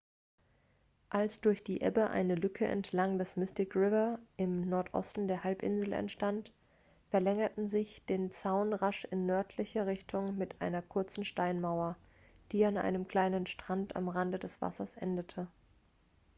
als durch die ebbe eine lücke entlang des mystic river im nordosten der halbinsel entstand verlängerten sie den zaun rasch in nördlicher richtung mit einer kurzen steinmauer die an einem kleinen strand am rande des wassers endete